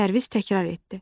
Pərviz təkrar etdi.